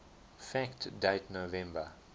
fact date november